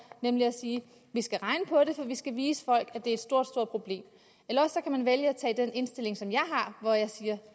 nemlig at sige at vi skal regne på det for vi skal vise folk at det er stort problem eller også kan man vælge at have den indstilling som jeg har hvor jeg siger